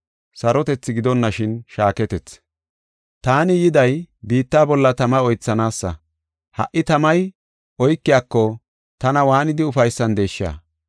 “Taani yiday biitta bolla tama oythanaasa. Ha77i tamay oykiyako tana waanidi ufaysandesha!